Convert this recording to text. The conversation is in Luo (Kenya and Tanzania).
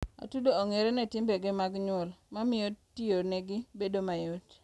atudo ongere ne timbe ge magmuol, mamiyo tiyonegi bedo mayot